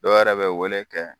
Dɔw yɛrɛ bɛ wele kɛ.